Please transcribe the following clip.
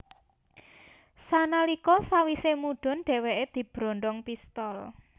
Sanalika sawise mudun dheweke dibrondong pistol